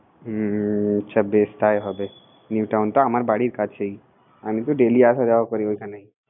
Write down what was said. হুম চল বেস তাই হবে নিউ টাউন টা আমার বাড়ির পাশেই আমি তো ডেইলি আসা যাওয়া করি